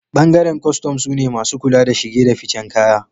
bangaren kostom sune masu kula da shige da ficen kaya